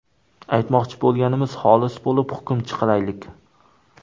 Aytmoqchi bo‘lganimiz – xolis bo‘lib, hukm chiqaraylik!